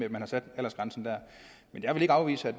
at man har sat aldersgrænsen der men jeg kan ikke afvise at